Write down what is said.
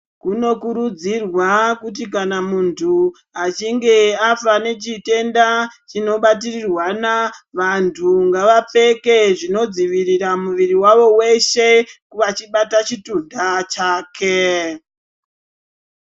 Kunokurudzirwa kuti kana muntu achinge afa nechitenda chinobatirirwana vantu ngavapfeke zvinodzivirira muviri wavo weshe vachibata chitunta chake.